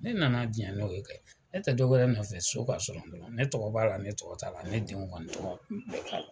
Ne nana diɲɛ n'o ye kɛ ne tɛ dɔwɛrɛ nɔfɛ so ka sɔrɔ n bolo ne tɔgɔ b'a la ne tɔgɔ t'a la ne denw kɔni tɔgɔ